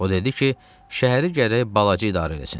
O dedi ki, şəhəri gərək balacı idarə eləsin.